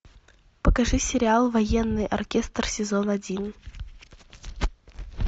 покажи сериал военный оркестр сезон один